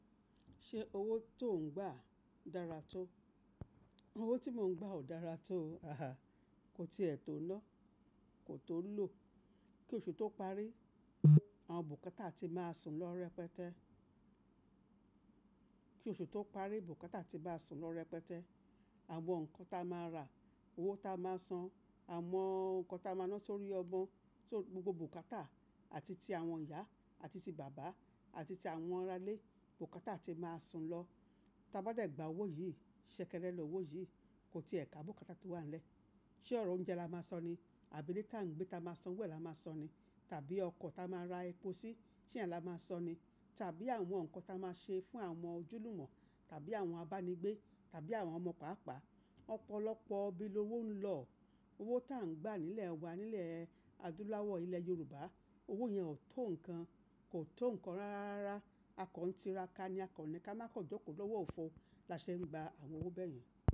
Ṣé owó tó ń gbà dára tó? Owó tí mò ń gbà ò dára tó, kò ti ẹ̀ tó na, kò tó lò. Kí oṣù tó parí, àwọn bùkátà ti máa sùn lọ rẹpẹtẹ. Kí oṣù tó parí, bùkátà ti ba sùn lọ rẹpẹtẹ. Àwọn nǹkan ta máa rà, owó ta máa san, àwọn nǹkan ta máa lọ sórí ọmọ, so, gbogbo bùkátà àti ti àwọn ìyá, àti ti bàbá, àti ti àwọn arálé, bùkátà ti máa sùn lọ. Tí a bá dẹ̀ gbà owó yìí, ṣẹ̀kẹ̀lẹ̀ lọ owó yìí, kò ti ẹ̀ ká bùkátà tó wà nílẹ̀. Ṣé ọ̀rọ̀ oúnjẹ la máa sọ ni? Àbí ile ta ń gbé ta máa san owo ẹ̀ la máa sọ ni? Tàbí ọkọ̀ ta máa ra epo sí, seyen la máa sọ ni? Tàbí àwọn nǹkan ta máa ṣe fún àwọn ojúlùmọ̀, tàbí àwọn abánigbé, tàbí àwọn ọmọ pàápàá. Ọ̀pọ̀lọpọ̀ ibi lówó ń lọ. Owó ta ń gbà nílẹ̀ wa, nílẹ̀ adúláwọ̀ ilẹ̀ Yorùbá, owó yẹn ò tó nǹkan, kò tó nǹkan rárá. Rárá, a kań tira ka ni, a kaní ká má kan joko lọ́wọ́ òfò, la ṣe ń gba àwọn owó bẹ́ẹ̀ yẹn.